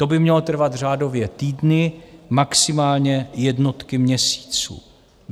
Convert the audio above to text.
To by mělo trvat řádově týdny, maximálně jednotky měsíců.